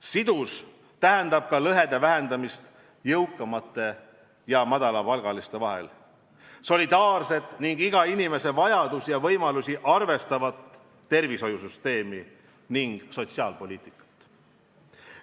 Sidusus tähendab ka väiksemaid lõhesid jõukamate ja madalapalgaliste inimeste vahel, solidaarset ning iga inimese vajadusi ja võimalusi arvestavat tervishoiusüsteemi ning sotsiaalpoliitikat.